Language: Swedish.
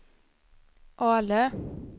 Ale